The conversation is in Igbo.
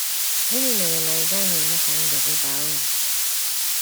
Gịnị mere na ị gaghị eme ka ndụ gị baa uru? ”